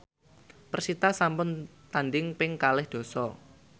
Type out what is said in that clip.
persita sampun tandhing ping kalih dasa